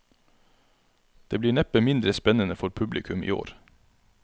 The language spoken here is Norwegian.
Det blir neppe mindre spennende for publikum i år.